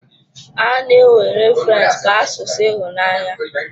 A na-ewere French ka asụsụ ịhụnanya.